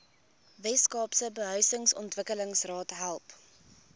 weskaapse behuisingsontwikkelingsraad help